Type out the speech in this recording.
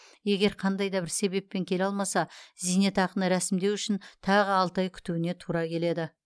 егер қандай да бір себеппен келе алмаса зейнетақыны рәсімдеу үшін тағы алты ай күтуіне тура келеді